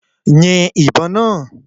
Yin ìbọn náà!